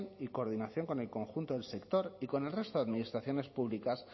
y coordinación con el conjunto del sector y con el resto de administraciones públicas